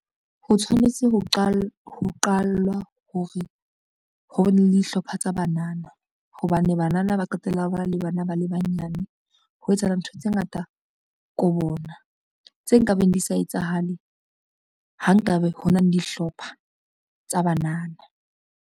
Ho tshwanetse ho qallwa hore ho be le dihlopha tsa banana, hobane banana ba qetella ba na le bana ba le banyane. Ho etsahala ntho tse ngata ko bona, tse nkabeng di sa etsahale ha nkabe ho na le dihlopha tsa banana.